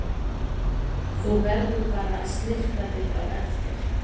Þú verður bara að snyrta þig á eftir.